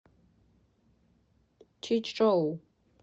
чичжоу